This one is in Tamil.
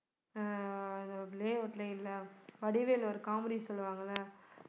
ஆஹ் வடிவேலு ஒரு comedy சொல்லுவாங்க இல்ல